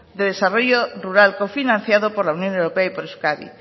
de desarrollo rural cofinanciado por la unión europea y por euskadi